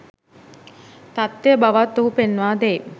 තත්වය බවත් ඔහු පෙන්වා දෙයි.